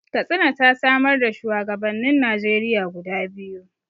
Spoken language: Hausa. Katsina ta samar da shuwagabannin Najeriya guda biyu.